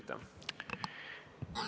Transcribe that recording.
Aitäh!